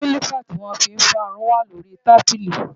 kílípà tí wọ́n fi ń fárun wà lórí i tábílì